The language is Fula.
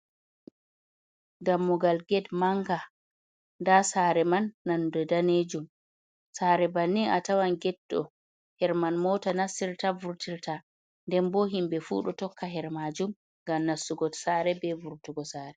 Dammugal get manga, nda saare man nonnde danejum, saare bannin atawan getɗo hedi man mota nastirta, vurtirta, nden bo himɓe fu ɗo tokka hedi majum ngam nastugo sare bee vurtugo sare.